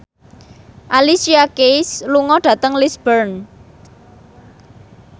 Alicia Keys lunga dhateng Lisburn